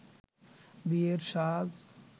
বিয়ের সাজ